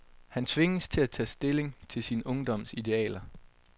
Han tvinges til at tage stilling til sin ungdoms idealer.